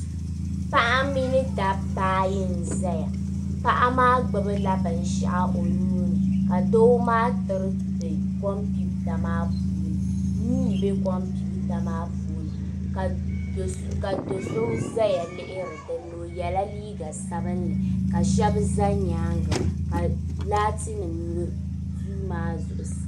Paɣa mini dabba ayi n-zaya paɣa maa gbubila binshɛɣu o nuu ni ka doo maa tiriti kompiwuta maa puuni nuu m-be konpiwuta maa puuni ka do so zaya lihiri dini o yela liiga sabinli ka shɛba za nyaaŋa ka laatinima ne duu maa zuɣusaa.